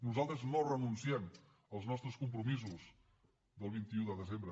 nosaltres no renunciem als nostres compromisos del vint un de desembre